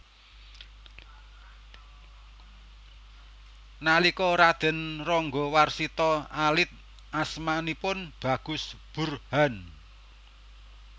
Nalika Raden Ranggawarsita alit asmanipun Bagus Burhan